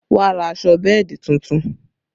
Wọn ra aṣọ bẹ́ẹ̀dì tuntun